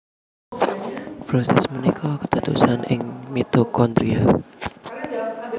Prosès punika kédadosan ing mitokondria